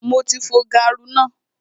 Mo ti fo gaaru náà